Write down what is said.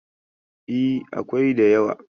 E, akwai da yawa.